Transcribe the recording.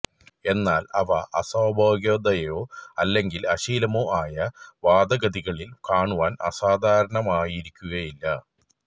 എന്നാൽ അവ അസ്വാഭാവികതയോ അല്ലെങ്കിൽ അശ്ലീലമോ ആയ വാദഗതികളിൽ കാണുവാൻ അസാധാരണമായിരിക്കുകയില്ല